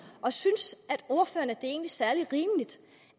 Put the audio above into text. og synes ordføreren at det egentlig er særlig rimeligt